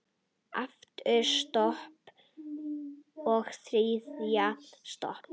Aftur sopi, og þriðji sopi.